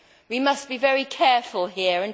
We must be very careful here